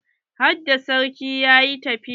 Harda sarki yayi tafiya?